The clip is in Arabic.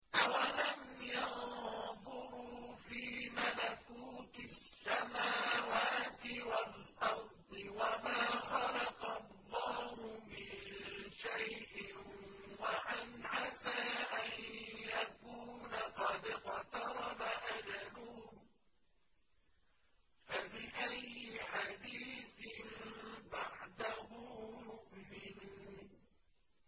أَوَلَمْ يَنظُرُوا فِي مَلَكُوتِ السَّمَاوَاتِ وَالْأَرْضِ وَمَا خَلَقَ اللَّهُ مِن شَيْءٍ وَأَنْ عَسَىٰ أَن يَكُونَ قَدِ اقْتَرَبَ أَجَلُهُمْ ۖ فَبِأَيِّ حَدِيثٍ بَعْدَهُ يُؤْمِنُونَ